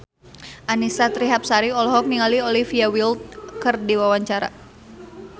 Annisa Trihapsari olohok ningali Olivia Wilde keur diwawancara